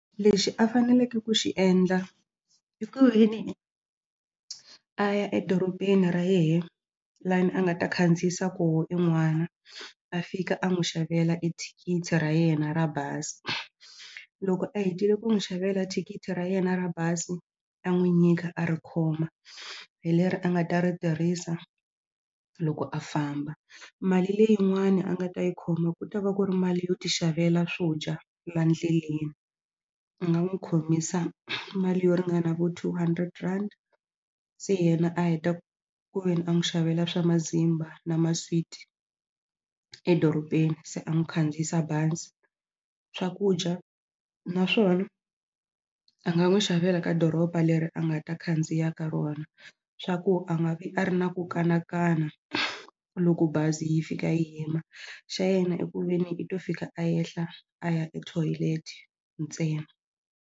Lexi a faneleke ku xi endla i ku veni a ya edoropeni ra yehe lani a nga ta khandziyisa koho en'wana a fika a n'wi xavela ethikithi ra yena ra bazi loko a hetile ku n'wi xavela thikithi ra yena ra bazi a n'wi nyika a ri khoma hi leri a nga ta ri tirhisa loko a famba mali leyin'wani a nga ta yi khoma ku ta va ku ri mali yo ti xavela swo dya la ndleleni a nga n'wi khomisa mali yo ringana vo two hundred rand se yena a heta ku veni a n'wi xavela swa mazimba na maswiti edoropeni se a n'wi khandziyisa bazi swakudya naswona a nga n'wi xavela ka doropa leri a nga ta khandziya ka rona swa ku a nga vi a ri na ku kanakana loko bazi yi fika yi yima xa yena i ku ve ni i to fika yenhla a ya ethoyilete ntsena.